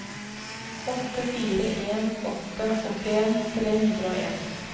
åtte fire en åtte åttien tre hundre og en